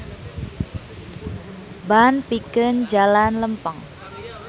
Ban pikeun jalan lempeng.